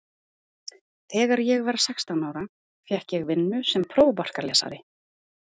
Þegar ég var sextán ára fékk ég vinnu sem prófarkalesari á